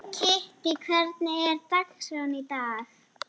Kittý, hvernig er dagskráin í dag?